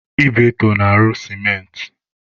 Ibeto na-arụ sementị.